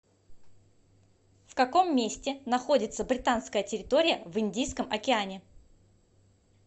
в каком месте находится британская территория в индийском океане